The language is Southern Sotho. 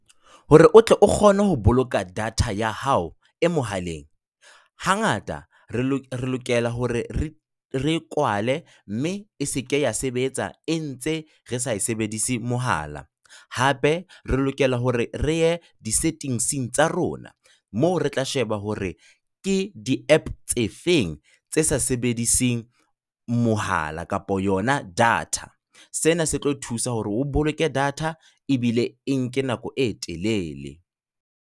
Hore o tle o kgone ho boloka data ya hao e mohaleng, hangata re lokela hore re e kwale mme e seke ya sebetsa e ntse re sa sebedise mohala. Hape re lokela hore re ye di-settings tsa rona, moo re tla sheba hore ke di-app tse feng tse sa sebediseng mohala kapa yona data. Sena se tlo thusa hore o boloke data ebile e nke nako e telele.